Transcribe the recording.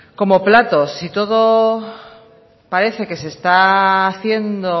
como platos si todo parece que se está haciendo